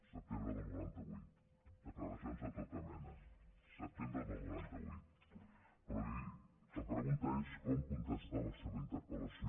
setembre del noranta vuit declaracions de tota mena setembre del noranta vuit però la pregunta és com contestar la seva interpel·lació